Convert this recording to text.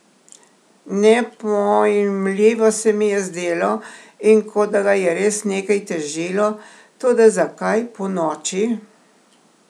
Nepojmljivo se mi je zdelo in kot da ga je res nekaj težilo, toda zakaj ponoči?